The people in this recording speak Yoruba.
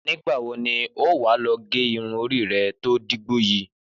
Nígbà wo ni wà á lọ gẹ irun orí rẹ tó dígbó yìí?